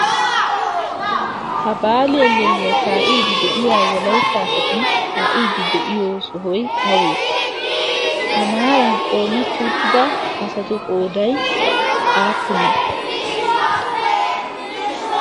Ha baali hellelliy kaa'iiddi de'iya wolayitta asati kaa'iiddi de'iyo sohoy awee? Ha maaran qoometti uttida asatu qooday aappunee?